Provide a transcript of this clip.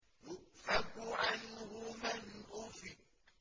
يُؤْفَكُ عَنْهُ مَنْ أُفِكَ